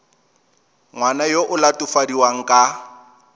ngwana yo o latofadiwang ka